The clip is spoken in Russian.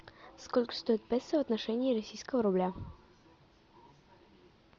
сколько стоит песо в отношении российского рубля